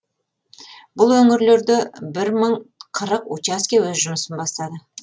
бұл өңірлерде бір мың қырық учаске өз жұмысын бастады